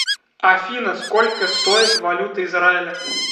афина сколько стоит валюта израиля